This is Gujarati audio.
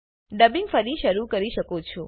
ડબિંગ ફરી શરુ કરી શકો છો